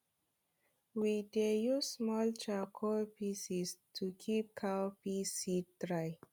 we dey use small charcoal piece to keep cowpea seed dry